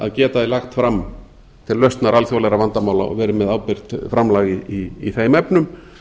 að geta lagt fram til lausnar alþjóðlegra vandamála og verið með ábyrgt framlag í þeim efnum